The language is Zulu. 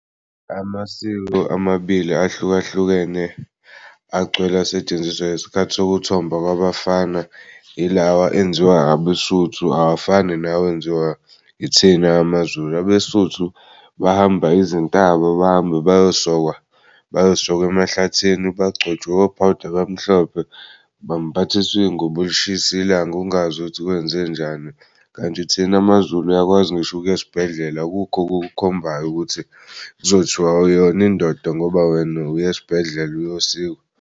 Amasiko amabili ahlukahlukene agcwele asetshenziswa ngesikhathi sokuthomba kwabafana ilawa enziwa abeSotho awafani nawenziwa ithini amaZulu. AbeSotho bahamba izintaba bahamba beyosokwa bayosokwa emahlathini bagcotshwe o-powder abamhlophe, bambathisw'iy'ngubo lishisa ilanga ungazi ukuthi kwenzenjani. Kanti thina maZulu uyakwazi ngisho ukuy'esibhedlela akukho okukhombayo ukuthi kuzothiwa awuyona indoda ngoba wena uy'esibhedlela uyosikwa.